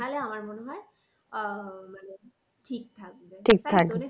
তাহলে আমার মনে হয় আহ মানে ঠিক থাকবে